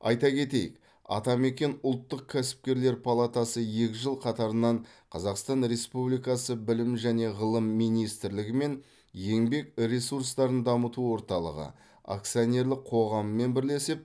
айта кетейік атамекен ұлттық кәсіпкерлер палатасы екі жыл қатарынан қазақстан республикасы білім және ғылым министрлігі мен еңбек ресурстарын дамыту орталығы акционерлік қоғаммен бірлесеп